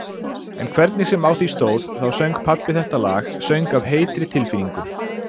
En hvernig sem á því stóð þá söng pabbi þetta lag, söng af heitri tilfinningu-